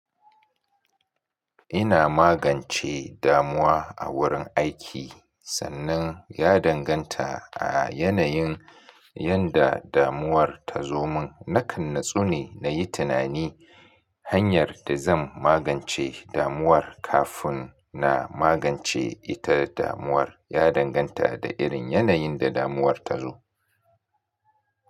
Ina magance damuwa a wurin aiki sannan ya danganta a yanayin yadda damuwar ta zo mun. Nakan natsu ne na yi tunani hanyar da zan magance damuwar kafin na magance ita. Damuwar ya danganta da irin yanayin da damuwar ta zo.